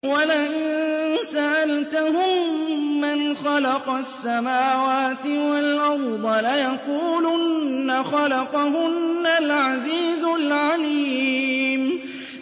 وَلَئِن سَأَلْتَهُم مَّنْ خَلَقَ السَّمَاوَاتِ وَالْأَرْضَ لَيَقُولُنَّ خَلَقَهُنَّ الْعَزِيزُ الْعَلِيمُ